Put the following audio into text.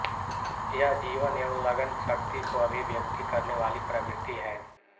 यह जीवन एवं लगन शक्ति को अभिव्यक्ति करने वाली प्रवृत्ति है